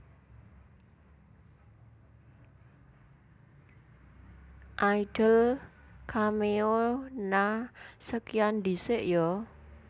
Idol cameo Nha sekian ndisik yo